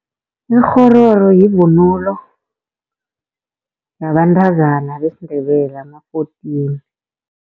Ikghororo yivunulo, yabantazana besiNdebele ama-fourteen.